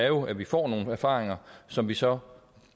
jo er at vi får nogle erfaringer som vi så